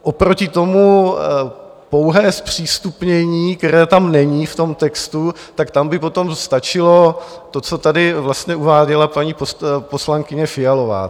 Oproti tomu pouhé zpřístupnění, které tam není v tom textu, tak tam by potom stačilo to, co tady vlastně uváděla paní poslankyně Fialová.